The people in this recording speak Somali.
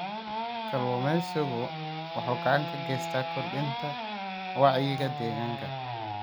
Kalluumeysigu wuxuu gacan ka geystaa kordhinta wacyiga deegaanka.